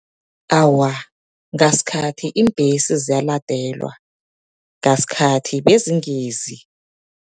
Awa, ngasikhathi iimbhesi ziyaladelwa, ngasikhathi bezingizi.